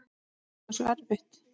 Er það svo erfitt?